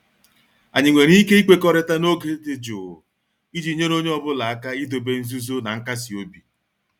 Anyị nwere ike ikwekọrịta n'oge dị jụụ iji nyere onye ọ bụla aka idobe nzuzo na nkasi obi?